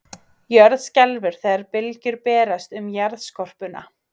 Jörð skelfur þegar bylgjur berast um jarðskorpuna.